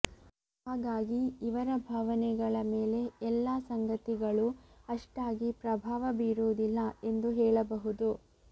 ಹಾಗಾಗಿ ಇವರ ಭಾವನೆಗಳ ಮೇಲೆ ಎಲ್ಲಾ ಸಂಗತಿಗಳು ಅಷ್ಟಾಗಿ ಪ್ರಭಾವ ಬೀರುವುದಿಲ್ಲ ಎಂದು ಹೇಳ ಬಹುದು